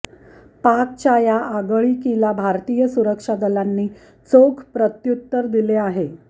पाकच्या या आगळीकीला भारतीय सुरक्षा दलांनी चोख प्रत्युत्तर दिले आहे